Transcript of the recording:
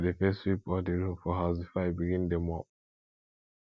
i dey first sweep all di room for house before i begin dey mop